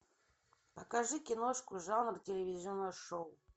покажи киношку жанр телевизионного шоу